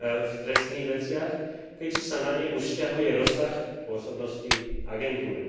v trestných veciach, keďže sa na ne už vzťahuje rozsah pôsobnosti agentúry.